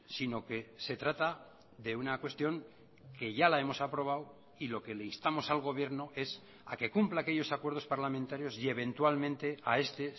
sino que se trata de una cuestión que ya la hemos aprobado y lo que le instamos al gobierno es a que cumpla aquellos acuerdos parlamentarios y eventualmente a este